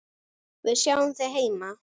Við sjáum þig heima.